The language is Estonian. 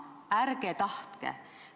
Ärge tahtke!